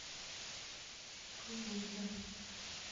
тулуза